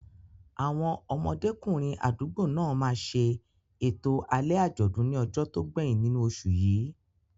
Àwọn ọmọdékùnrin àdúgbò náà máa ṣe ètò alẹ́ àjọ̀dún ní ọjọ́ tó gbẹ̀yìn nínú oṣù yìí.